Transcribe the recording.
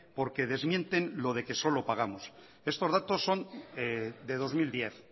porque desmienten lo de que solo pagamos estos datos son de dos mil diez